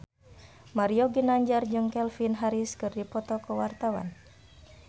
Mario Ginanjar jeung Calvin Harris keur dipoto ku wartawan